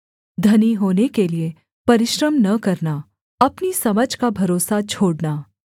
धनी होने के लिये परिश्रम न करना अपनी समझ का भरोसा छोड़ना